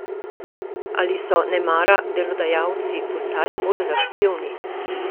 Ali so nemara delodajalci postali bolj zahtevni?